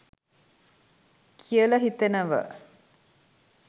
කියල හිතෙනව.